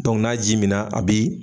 n'a ji minna a bi